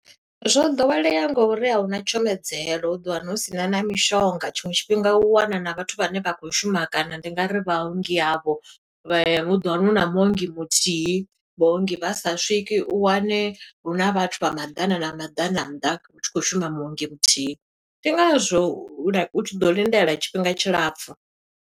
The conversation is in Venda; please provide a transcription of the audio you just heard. Zwo ḓowelea ngo uri a huna tshumedzelo. U ḓo wana hu sina na mishonga, tshiṅwe tshifhinga u wana na vhathu vhane vha khou shuma, kana ndi nga ri vhaongi avho, u ḓo wana huna muongi muthihi. Vhaongi vhasa swiki, u wane huna vhathu vha maḓana na maḓana nnḓa, hu tshi khou shuma muongi muthihi. Ndi ngazwo u tshi ḓo lindela tshifhinga tshilapfu.